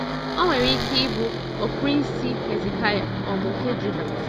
O nwere ike ịbụ ọprínsị Hezekaya um nke Juda.